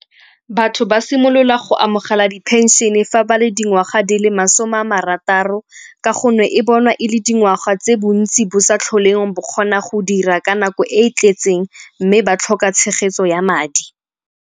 Batho ba simolola go amogela di-pension-e fa ba le dingwaga di le masome a marataro ka gonne e bonwa e le dingwaga tse bontsi bo sa tlholeng bo kgona go dira ka nako e e tletseng mme ba tlhoka tshegetso ya madi.